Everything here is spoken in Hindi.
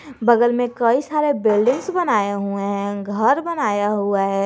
बगल में कई सारे बिल्डिंग्स बनाए हुए हैं घर बनाया हुआ है।